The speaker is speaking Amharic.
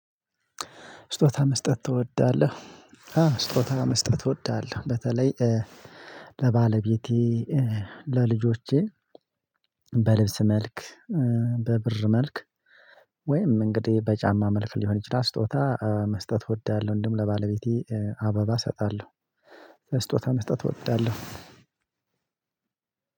ስጦታ መስጠት ትወዳለህ? ስጦታ መስጠት ትወዳለህ? በተለይ ለባለቤቴ ለልጆቼ በልብስ መልክ በብር መልክ ወይም እንግዲህ በጫማ መልክ ሊሆን ይችላል ስጦታ መስጠት እወዳለሁ። እንደውም ለባለቤቴ አበባ እሰጣለሁ። ስጦታ መስጠት እወዳለሁ።